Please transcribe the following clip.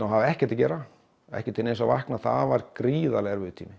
og hafði ekkert að gera ekkert til þess að vakna það var gríðarlega erfiður tími